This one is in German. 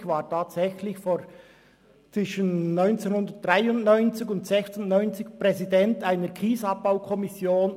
Ich war tatsächlich zwischen 1993 und 1996 Präsident einer KiesabbauKommission.